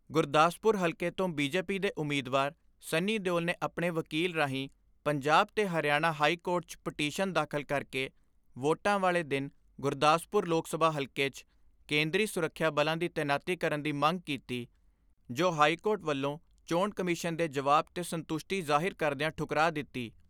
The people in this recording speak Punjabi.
ਗੁਰਦਾਸਪੁਰ ਹਲਕੇ ਤੋਂ ਬੀਜੇਪੀ ਦੇ ਉਮੀਦਵਾਰ ਸੰਨੀ ਦਿਉਲ ਨੇ ਆਪਣੇ ਵਕੀਲ ਰਾਹੀਂ ਪੰਜਾਬ ਤੇ ਹਰਿਆਣਾ ਹਾਈ ਕੋਰਟ 'ਚ ਪਟੀਸ਼ਨ ਦਾਖਲ ਕਰਕੇ ਵੋਟਾਂ ਵਾਲੇ ਦਿਨ ਗੁਰਦਾਸਪੁਰ ਲੋਕ ਸਭਾ ਹਲਕੇ 'ਚ ਕੇਂਦਰੀ ਸੁਰੱਖਿਆ ਬਲਾਂ ਦੀ ਤੈਨਾਤੀ ਕਰਨ ਦੀ ਮੰਗ ਕੀਤੀ ਜੋ ਹਾਈਕੋਰਟ ਵੱਲੋਂ ਚੋਣ ਕਮਿਸ਼ਨ ਦੇ ਜਵਾਬ ਤੇ ਸਤੁੰਸਟੀ ਜ਼ਾਹਿਰ ਕਰਦਿਆਂ ਠੁਕਰਾ ਦਿੱਤੀ।